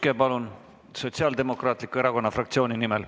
Jaak Juske Sotsiaaldemokraatliku Erakonna fraktsiooni nimel.